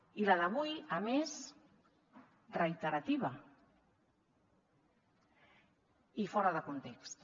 i la d’avui a més reiterativa i fora de context